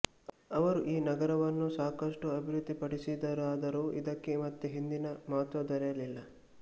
ಅವರು ಈ ನಗರವನ್ನು ಸಾಕಷ್ಟು ಅಭಿವೃದ್ಧಿಪಡಿಸಿದ ರಾದರೂ ಇದಕ್ಕೆ ಮತ್ತೆ ಹಿಂದಿನ ಮಹತ್ತ್ವ ದೊರೆಯಲಿಲ್ಲ